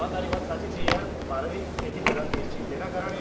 હા તારી વાત સાચી છે યાર ભારત એક ખેતીપ્રધાન દેશ છે જેના કારણે